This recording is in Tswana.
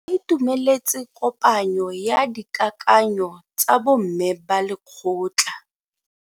Ba itumeletse kopanyo ya dikakanyo tsa bo mme ba lekgotla.